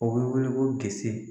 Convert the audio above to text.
O bɛ wele ko kisɛ